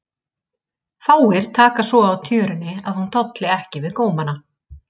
Fáir taka svo á tjörunni að hún tolli ekki við gómana.